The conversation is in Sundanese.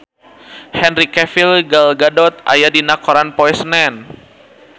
Henry Cavill Gal Gadot aya dina koran poe Senen